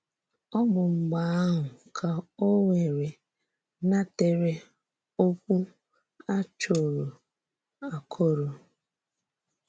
Ọ bụ́ mgbe ahụ ka ò wèrè nàtèrè òkwú a chòrò àkòrò.